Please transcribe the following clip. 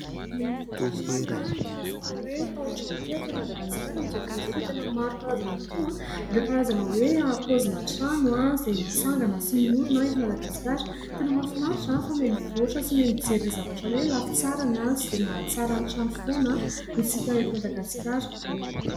Miha mivoatra hatrany inty resaka hoe tao-trano ity atỳ Madagaskara amin'izao fotoan'izao tena maro karazana tokoa ireo karazana hoe paozina trano izay mitsangana sy miorina eto madagasikara. Tena mahafinaritra fa mihamivoatra sy mijery ny zavatra hoe lafitsarany izay mahatsara ny trano foana isika ety madagasikara.